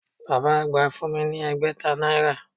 Bàbá àgbà fún mi ni ẹgbẹ̀ta náírà